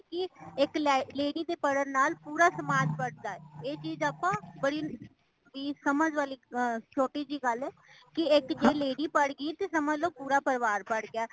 ਕੀ ਇੱਕ lady ਦੇ ਪੜਨ ਨਾਲ ਪੂਰਾ ਸਮਾਜ ਪੜ੍ਹਦਾ ਹੈ। ਇਹ ਚੀਜ ਆਪਾ ਬੜੀ ਹੀ ਸਮਜ ਵਾਲੀ ਛੋਟੀ ਜਹੀ ਗੱਲ ਹੇ ਕੀ ਇੱਕ ਜੇਹ lady ਪੜ ਗਈ ਤੇ ਸਮਜ ਲੋ ਪੂਰਾ ਪਰਿਵਾਰ ਪੜ ਗਈਆਂ